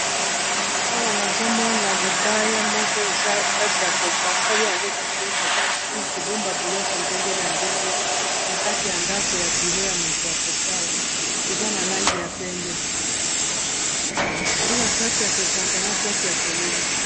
Awa nazomona libaya moko eza place ya Yako basali yango kitoko mpona ko bomba biloko ndenge na ndenge na kati ya ndako ya bureau ya moto ya kosala eza na langi ya pembe eza na place ya kokanga na place ya polele.